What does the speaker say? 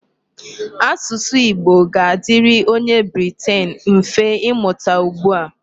Asụsụ Igbo ga-adịrị onye Briten mfe imụta ugbu a.